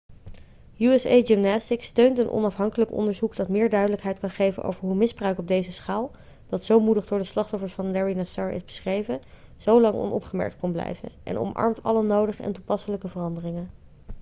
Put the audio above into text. usa gymnastics steunt een onafhankelijk onderzoek dat meer duidelijkheid kan geven over hoe misbruik op deze schaal dat zo moedig door de slachtoffers van larry nassar is beschreven zo lang onopgemerkt kon blijven en omarmt alle nodige en toepasselijke veranderingen